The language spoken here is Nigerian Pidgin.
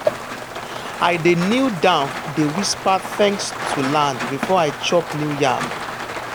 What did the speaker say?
i dey kneel down dey whisper thanks to land before i chop new yam.